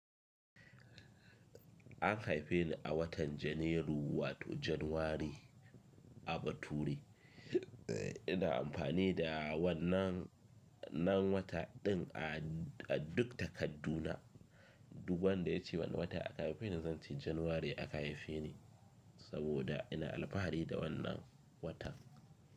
An haife ni a watan Janairu wato January a bature. Ina amfani da wannan nan wata din a duk takadduna. Duk wanda ya ce wane wata aka haife ni, zan ce January aka haife ni, saboda ina alfahari da wannan watan.